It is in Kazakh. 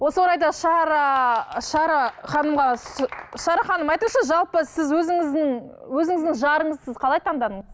осы орайда шара ы шара ханымға шара ханым айтыңызшы жалпы сіз өзіңіздің өзіңіздің жарыңызды сіз қалай таңдадыңыз